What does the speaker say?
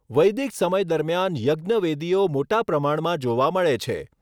વૈદિક સમય દરમિયાન યજ્ઞવેદીઓ મોટા પ્રમાણમાં જોવા મળે છે.